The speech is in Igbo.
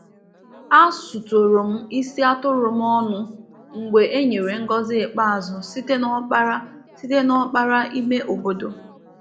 A sutụrụ m isi atụrụ m ọnụ mgbe e nyere ngọzi ikpeazụ site n’ọkpara site n’ọkpara ime obodo.